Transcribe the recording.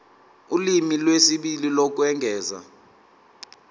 ulimi lwesibili lokwengeza